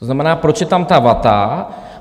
To znamená, proč je tam ta vata?